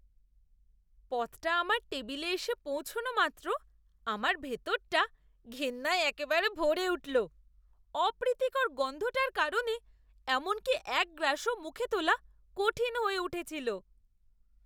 পদটা আমার টেবিলে এসে পৌঁছনো মাত্র আমার ভিতরটা ঘেন্নায় একেবারে ভরে উঠল। অপ্রীতিকর গন্ধটার কারণে এমনকি এক গ্রাসও মুখে তোলা কঠিন হয়ে উঠেছিল।